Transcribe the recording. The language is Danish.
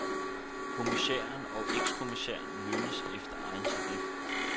Kommissærer og ekskommissærer lønnes efter egen tarif.